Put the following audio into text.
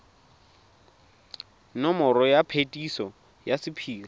nomoro ya phetiso ya sephiri